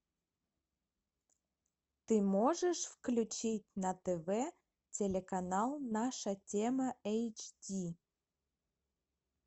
ты можешь включить на тв телеканал наша тема эйч ди